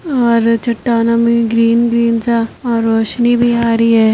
और चट्टानों में ग्रीन ग्रीन सा और रौशनी भी आ रही है।